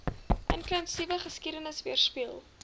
inklusiewe geskiedenis weerspieël